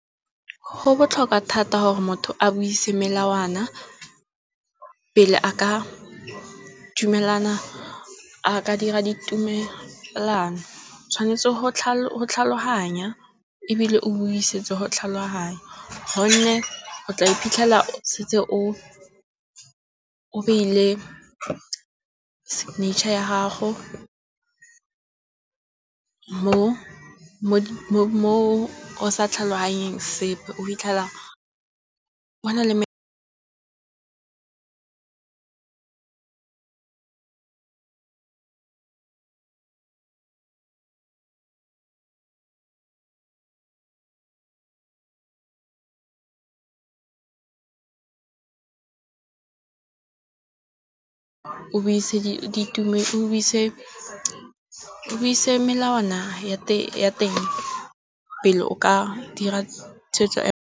Go botlhokwa thata gore motho a buise melawana pele a ka dumelana, a ka dira ditumelano. Tshwanetse go tlhaloganya ebile o bo o isetse go tlhaloganya, gonne o tla iphitlhela o setse o beile signature ya gago mo o sa tlhaloganyeng sepe. O fitlhela o na le o buise melawana ya teng pele o ka dira tshwetso ya.